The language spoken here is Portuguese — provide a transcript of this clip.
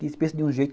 que de um jeito.